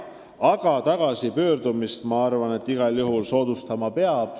Aga tagasipöördumist igal juhul soodustama peab.